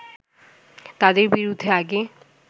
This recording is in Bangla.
তাদের বিরুদ্ধে আগে